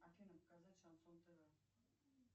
афина показать шансон тв